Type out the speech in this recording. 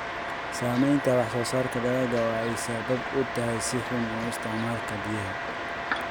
Saamaynta wax-soo-saarka dalagga oo ay sabab u tahay si xun u isticmaalka biyaha.